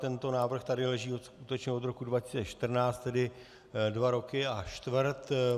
Tento návrh tady leží skutečně od roku 2014, tedy dva roky a čtvrt.